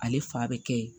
Ale fa bɛ kɛ ye